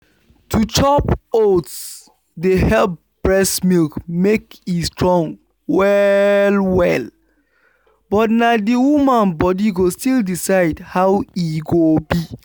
to chop oats dey help breast milk make e strong well -well but na the woman body go still decide how e go be.